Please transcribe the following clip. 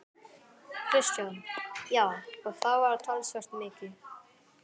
Kristján: Já, og það var talsvert mikið?